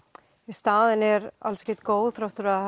staðan er alls ekki góð þrátt fyrir að